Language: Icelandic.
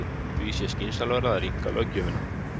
Því sé skynsamlegra að rýmka löggjöfina.